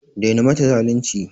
Daina mata zalunci!